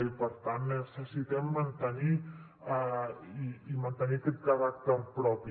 i per tant necessitem mantenir i mantenir aquest caràcter propi